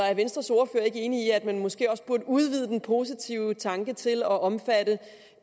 er venstres ordfører ikke enig i at man måske også burde udvide den positive tanke til at omfatte